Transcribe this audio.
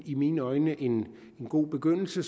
i mine øjne en god begyndelse